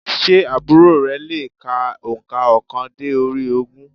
Sé àbúrò re le è ka ònkà óokan dé orí ogún?